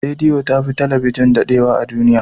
Radiyo ta fi talabijin dadewa a duniya.